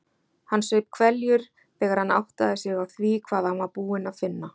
Hann saup hveljur þegar hann áttaði sig á því hvað hann var búinn að finna.